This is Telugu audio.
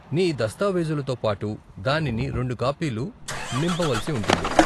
నీ దస్తావేజులతో పాటు దానిని రెండు కాపీలు నింపవలసి ఉంటుంది.